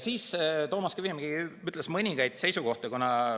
Siis ütles Toomas Kivimägi mõningaid seisukohti.